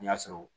N'i y'a sɔrɔ